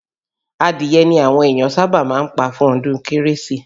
Adìye ni àwọn ènìyàn sábà máa ń pa fún ọdún Kérésìmesì